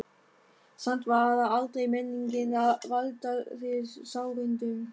Samt var það aldrei meiningin að valda þér sárindum.